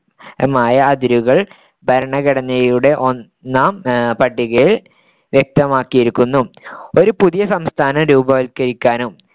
മായ അതിരുകൾ ഭരണഘടനയുടെ ഒന്നാം പട്ടികയിൽ വ്യക്തമാക്കിയിരിക്കുന്നു ഒരു പുതിയ സംസ്ഥാനം രൂപവത്കരിക്കാനും